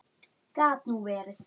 Gat nú verið!